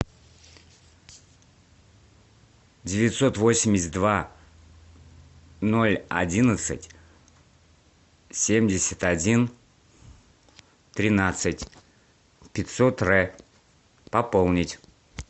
девятьсот восемьдесят два ноль одиннадцать семьдесят один тринадцать пятьсот р пополнить